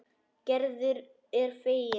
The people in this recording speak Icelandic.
Gerður er fegin.